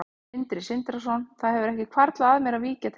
Sindri Sindrason: Það hefur ekki hvarflað að þér að víkja til hliðar?